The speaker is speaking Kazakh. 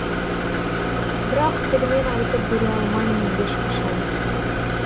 бірақ тілмен айтып бере алмаймын ешқашан